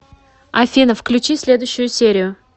афина включи следующую серию